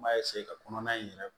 N b'a ka kɔnɔna in yɛrɛ